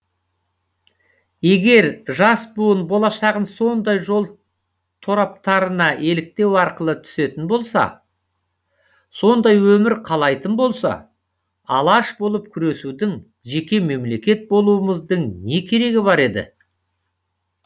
егер жас буын болашағын сондай жол тораптарына еліктеу арқылы түсетін болса сондай өмір қалайтын болса алаш болып күресудің жеке мемлекет болумыздың не керегі бар еді